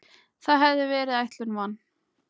Það hafði verið ætlun van